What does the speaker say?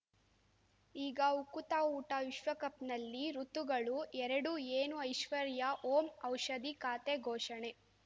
ಈಗ ಉಕುತ ಊಟ ವಿಶ್ವಕಪ್‌ನಲ್ಲಿ ಋತುಗಳು ಎರಡು ಏನು ಐಶ್ವರ್ಯಾ ಓಂ ಔಷಧಿ ಖಾತೆ ಘೋಷಣೆ